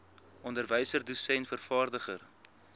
onderwyser dosent vervaardiger